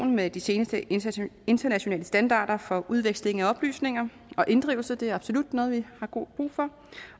med de seneste internationale internationale standarder for udveksling af oplysninger og inddrivelse det er absolut noget vi har god brug for